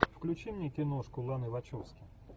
включи мне киношку ланы вачовски